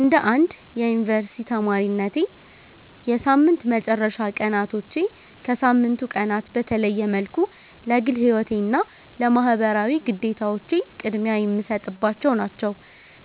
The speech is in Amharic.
እንደ አንድ የዩኒቨርሲቲ ተማሪነቴ፣ የሳምንት መጨረሻ ቀናቶቼ ከሳምንቱ ቀናት በተለየ መልኩ ለግል ሕይወቴና ለማኅበራዊ ግዴታዎቼ ቅድሚያ የምሰጥባቸው ናቸው።